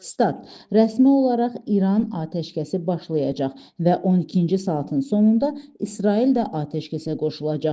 Stat: Rəsmi olaraq İran atəşkəsi başlayacaq və 12-ci saatın sonunda İsrail də atəşkəsə qoşulacaq.